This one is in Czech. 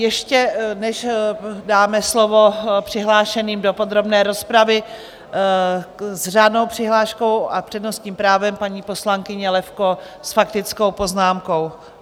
Ještě než dáme slovo přihlášeným do podrobné rozpravy, s řádnou přihláškou a přednostním právem paní poslankyně Levko s faktickou poznámkou.